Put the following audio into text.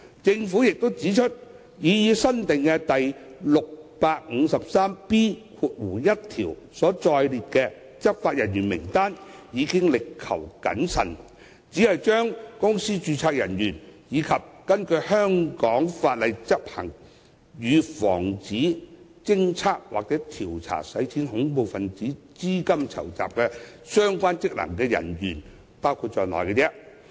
政府也指出，擬議新訂的第 653B1 條所載列的執法人員名單已力求謹慎，只把公司註冊處人員，以及根據香港法例執行與防止、偵測或調查洗錢及恐怖分子資金籌集相關職能人員包括在內。